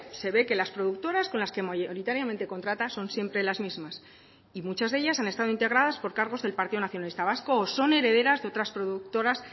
se ve que las productoras con las que mayoritariamente contrata son siempre las mismas y muchas de ellas han estado integradas por cargos del partido nacionalista vasco o son herederas de otras productoras